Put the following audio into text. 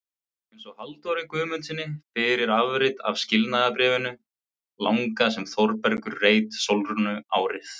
Eins Halldóri Guðmundssyni fyrir afrit af skilnaðarbréfinu langa sem Þórbergur reit Sólrúnu árið